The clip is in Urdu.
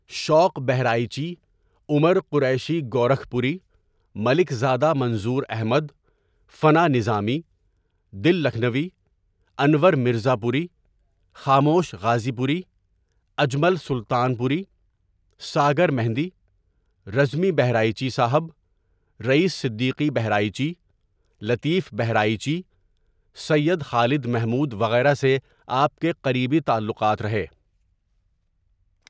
شوق ؔبہرائچی، عمر قریشی گورکھ پوری، ملک زادہ منظور احمد، فنا نظامی، دل لکھنوی، انورمرزاپوری، خاموش غازی پوری، اجمل سلطان پوری، ساگر مہندی ،رزمی بہرائچی صاحب، رئیس صدیقی بہرائچی، لطیف بہرائچی، سید خالد محمود وغیرہ سے آپ کے قریبی تعلوقات رہے.